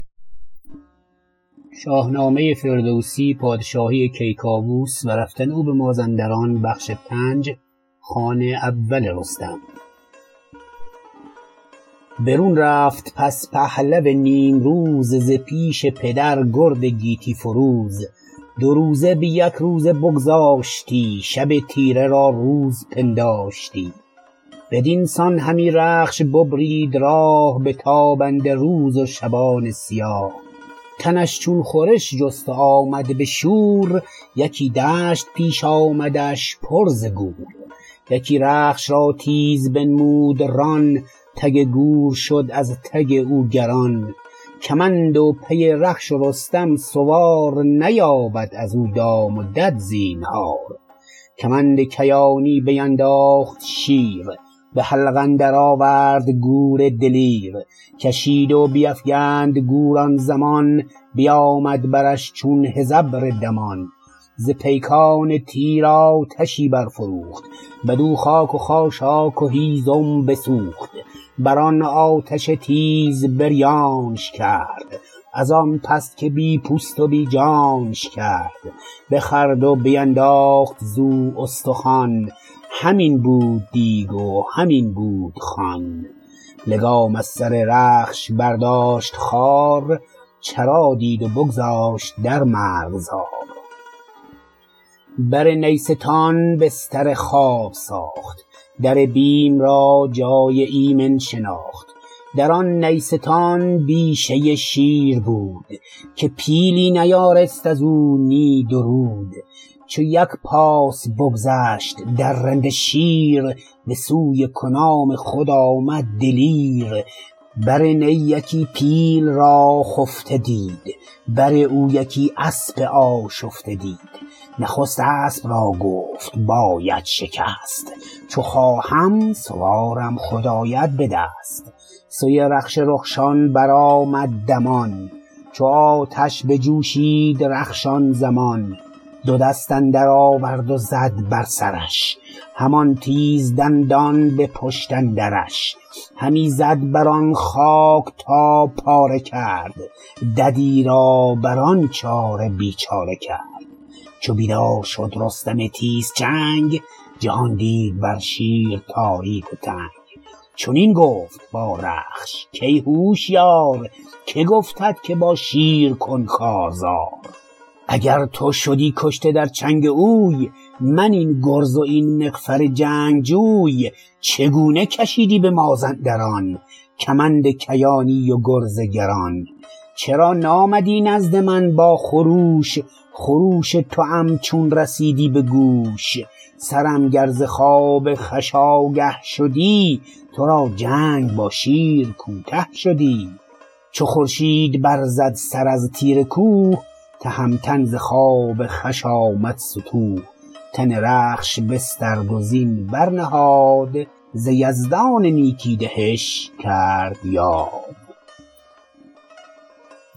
برون رفت پس پهلو نیمروز ز پیش پدر گرد گیتی فروز دو روزه بیک روزه بگذاشتی شب تیره را روز پنداشتی بدین سان همی رخش ببرید راه بتابنده روز و شبان سیاه تنش چون خورش جست و آمد به شور یکی دشت پیش آمدش پر ز گور یکی رخش را تیز بنمود ران تگ گور شد از تگ او گران کمند و پی رخش و رستم سوار نیابد ازو دام و دد زینهار کمند کیانی بینداخت شیر به حلقه درآورد گور دلیر کشید و بیفگند گور آن زمان بیامد برش چون هژبر دمان ز پیکان تیرآتشی برفروخت بدو خاک و خاشاک و هیزم بسوخت بران آتش تیز بریانش کرد ازان پس که بی پوست و بی جانش کرد بخورد و بینداخت زو استخوان همین بود دیگ و همین بود خوان لگام از سر رخش برداشت خوار چرا دید و بگذاشت در مرغزار بر نیستان بستر خواب ساخت در بیم را جای ایمن شناخت دران نیستان بیشه شیر بود که پیلی نیارست ازو نی درود چو یک پاس بگذشت درنده شیر به سوی کنام خود آمد دلیر بر نی یکی پیل را خفته دید بر او یکی اسپ آشفته دید نخست اسپ را گفت باید شکست چو خواهم سوارم خود آید به دست سوی رخش رخشان برآمد دمان چو آتش بجوشید رخش آن زمان دو دست اندر آورد و زد بر سرش همان تیز دندان به پشت اندرش همی زد بران خاک تا پاره کرد ددی را بران چاره بیچاره کرد چو بیدار شد رستم تیزچنگ جهان دید بر شیر تاریک و تنگ چنین گفت با رخش کای هوشیار که گفتت که با شیر کن کارزار اگر تو شدی کشته در چنگ اوی من این گرز و این مغفر جنگجوی چگونه کشیدی به مازندران کمند کیانی و گرز گران چرا نامدی نزد من با خروش خروش توام چون رسیدی به گوش سرم گر ز خواب خوش آگه شدی ترا جنگ با شیر کوته شدی چو خورشید برزد سر از تیره کوه تهمتن ز خواب خوش آمد ستوه تن رخش بسترد و زین برنهاد ز یزدان نیکی دهش کرد یاد